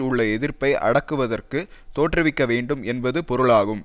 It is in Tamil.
உள் எதிர்ப்பை அடக்குவதற்கு தோற்றுவிக்க வேண்டும் என்பது பொருளாகும்